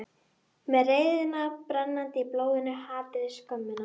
Með reiðina brennandi í blóðinu, hatrið, skömmina.